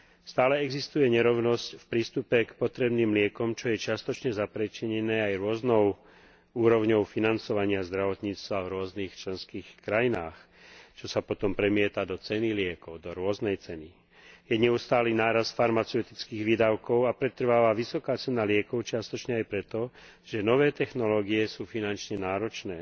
Stále existuje nerovnosť v prístupe k potrebným liekom, čo je čiastočne zapríčinené aj rôznou úrovňou financovania zdravotníctva v rôznych členských krajinách, čo sa potom premieta do ceny liekov, do rôznej ceny, i neustáleho nárastu farmaceutických výdavkov a pretrváva vysoká cena liekov čiastočne aj preto, že nové technológie sú finančne náročné.